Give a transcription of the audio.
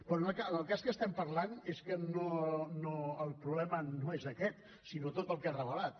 però en el cas que estem parlant és que el problema no és aquest sinó tot el que ha revelat